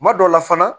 Kuma dɔw la fana